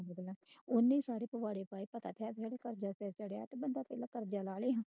ਓਹਨੇ ਈ ਸਾਰੇ ਪਵਾੜੇ ਪਾਏ ਕਰਜਾ ਲਾ ਲੇਗੀ।